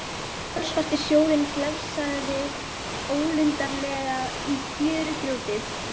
Kolsvartur sjórinn glefsaði ólundarlega í fjörugrjótið.